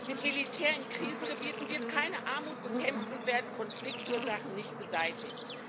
Mit Militär in Krisengebieten wird keine Armut bekämpft und werden Konfliktursachen nicht beseitigt.